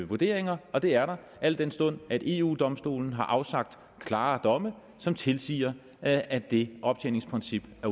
vurderinger og det er der al den stund eu domstolen har afsagt klare domme som tilsiger at det optjeningsprincip